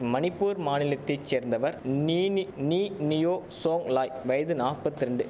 மணிப்பூர் மாநிலத்தை சேர்ந்தவர் நீ நீயோ சோங்லாய் வயது நாப்பத்திரெண்டு